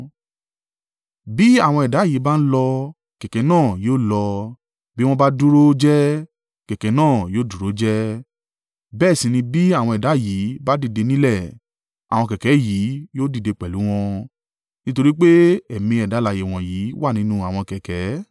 Bí àwọn ẹ̀dá yìí bá ń lọ, kẹ̀kẹ́ náà yóò lọ; bí wọ́n bá dúró jẹ́ẹ́ kẹ̀kẹ́ náà yóò dúró jẹ́ẹ́, bẹ́ẹ̀ sì ni bí àwọn ẹ̀dá yìí bá dìde nílẹ̀, àwọn kẹ̀kẹ́ yìí yóò dìde pẹ̀lú wọn, nítorí pé ẹ̀mí ẹ̀dá alààyè wọ̀nyí wà nínú àwọn kẹ̀kẹ́.